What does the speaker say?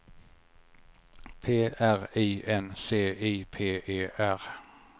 P R I N C I P E R